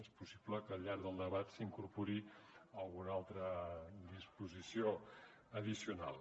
és possible que al llarg del debat s’hi incorpori alguna altra disposició addicional